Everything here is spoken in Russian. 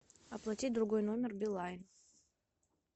оплатить другой номер билайн